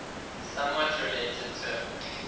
somewhat related term